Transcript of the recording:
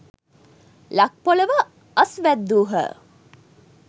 ලක් පොළොව අස්වැද්‍දූහ.